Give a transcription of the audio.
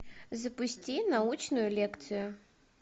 запусти научную лекцию